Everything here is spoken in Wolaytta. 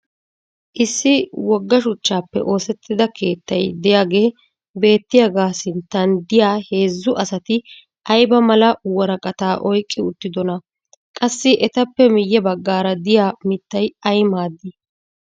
issi woga shuchchaappe oosettida keettay diyaagee beettiyaaga sinttan diya heezzu asati ayba mala woraqataa oyqqi uttidonaaa? qassi etappe miye bagaara diya mitay ay maadii?